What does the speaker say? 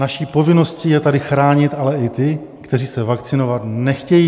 Naší povinností je tady chránit ale i ty, kteří se vakcinovat nechtějí.